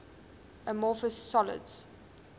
amorphous solids